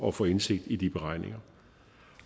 at få indsigt i de beregninger